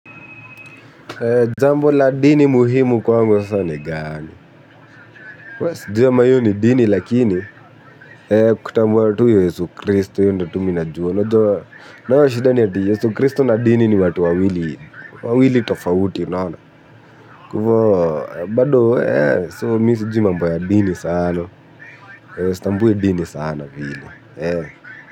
Jambo la dini muhimu kwangu sasa gani. Sijui ama hio ni dini lakini kutambua tu Yesu Kristo hio ndio mi najua unajua. Nayo shida ni Yesu Kristo na dini ni watu wawili tofauti unaona kwa hivyo bado mimi sijui mambo ya dini sana sitambui dini sana vile.